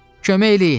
Kömək eləyin!